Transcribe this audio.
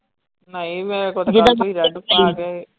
ਨਹੀਂ red ਪਾ ਕੇ।